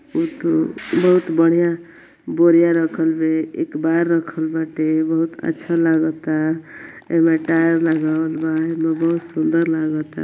उत बहुत बढ़ियां बोरिया रखल बे एकबार रखल बाटे बहुत अच्छा लागता। एमे टायर लगावल बा एमे बहुत सुन्दर लागता।